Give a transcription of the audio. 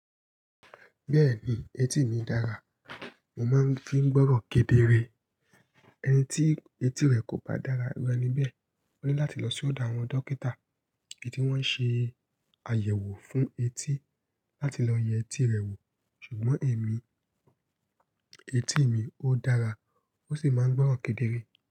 Bẹ́ẹ̀ni, etí mi dára, mo máa ń fi ń gbọ́rọ̀ kedere. Ẹni tí etí rẹ̀ kò bá dára iru eni bẹ́ẹ̀. Ó ní láti lọ sí ọ̀dọ̀ àwọn dókítà èyí tí wọ́n ṣe àyẹ̀wò fún etí láti lọ yẹ etí rẹ̀ wò. Ṣùgbọ́n èmi, etí mi ó dára, ó sì máa ń gbọ́rọ̀ kedere.